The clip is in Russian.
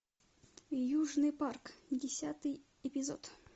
южный парк десятый эпизод